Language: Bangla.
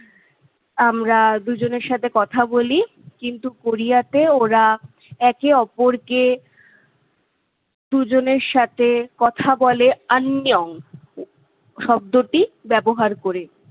আমরা দুজনের সাথে কথা বলি কিন্তু কোরিয়াতে ওরা একে অপরকে দুজনের সাথে কথা বলে শব্দটি ব্যবহার করে